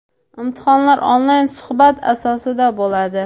Imtihonlar onlayn suhbat asosida bo‘ladi.